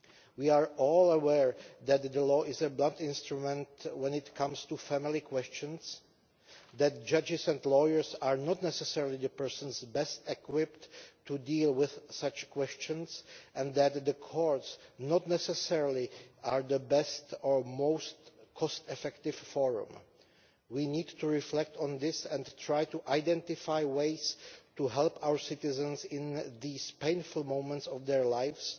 We are all aware that the law is a blunt instrument when it comes to family questions, that judges and lawyers are not necessarily the persons best equipped to deal with such questions and that the courts are not necessarily the best or most cost-effective forum. We need to reflect on this and try to identify ways to help our citizens in these painful moments of their lives,